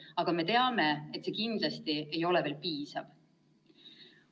Aga me teame, et see kindlasti ei ole veel piisav.